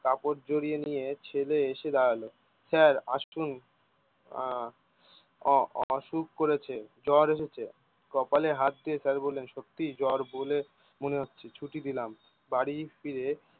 কাপড় জড়িয়ে নিয়ে ছেলে এসে দাঁড়ালো। স্যার আসমু? আহ অ অ অসুখ করেছে জ্বর এসেছে কপালে হাত দিয়ে তাই বলেন সত্যি জ্বর বলে মনে হচ্ছে ছুটি দিলাম বাড়ি ফিরে